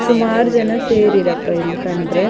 ಸುಮಾರು ಜನ ಸೇರಿರಪ್ಪಾ ಇಲ್ಲಿ ಕಂಡ್ರೆ.